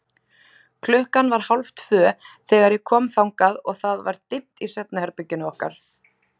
Klukkan var hálftvö þegar ég kom þangað og það var dimmt í svefnherberginu okkar.